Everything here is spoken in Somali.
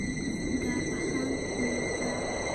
gaar ahaan miyiga.